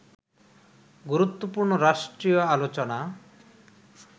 গুরুত্বপূর্ণ রাষ্ট্রীয় আলোচনা